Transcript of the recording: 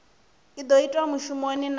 i do itwa mushumoni na